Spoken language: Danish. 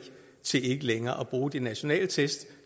til ikke længere at bruge de nationale test